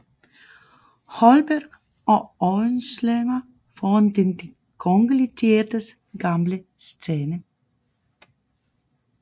Holberg og Oehlenschlæger foran den Det kongelige Teaters gamle scene